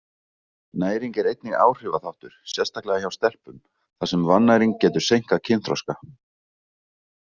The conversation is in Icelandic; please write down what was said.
Næring er einnig áhrifaþáttur, sérstaklega hjá stelpum, þar sem vannæring getur seinkað kynþroska.